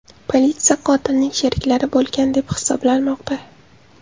Politsiya qotilning sheriklari bo‘lgan deb hisoblamoqda.